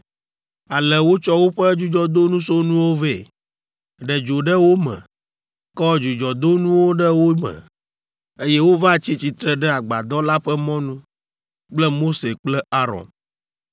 Ale wotsɔ woƒe dzudzɔdosonuwo vɛ, ɖe dzo ɖe wo me, kɔ dzudzɔdonuwo ɖe wo me, eye wova tsi tsitre ɖe Agbadɔ la ƒe mɔnu kple Mose kple Aron.